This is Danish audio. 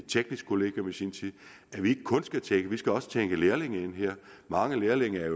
teknisk kollegium i sin tid vi skal også tænke på lærlinge her mange lærlinge er